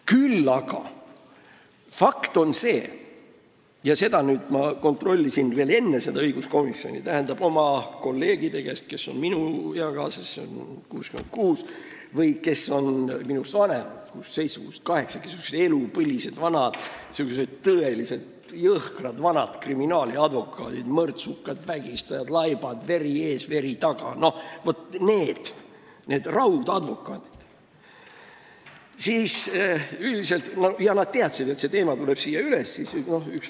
Küll aga on fakt see, mida ma kontrollisin oma kolleegide käest, kes on minu eakaaslased, 66-aastased, või minust vanemad, 67–68-aastased, elupõlised ja tõeliselt jõhkrad vanad kriminaaladvokaadid , n-ö raudadvokaadid ja kes teadsid, et see teema tuleb siin üles.